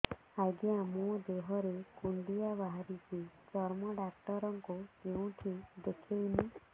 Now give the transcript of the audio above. ଆଜ୍ଞା ମୋ ଦେହ ରେ କୁଣ୍ଡିଆ ବାହାରିଛି ଚର୍ମ ଡାକ୍ତର ଙ୍କୁ କେଉଁଠି ଦେଖେଇମି